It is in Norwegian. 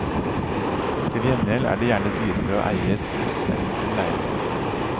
Til gjengjeld er det gjerne dyrere å eie et hus enn en leilighet.